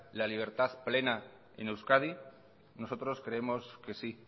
la libertad plena en euskadi nosotros creemos que sí